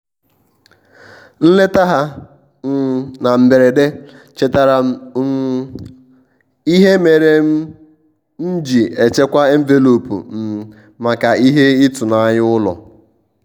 nleta ha um na mberede chetaara um m ihe mere m m ji echekwa envelopu um maka ihe ịtụnanya ụlọ.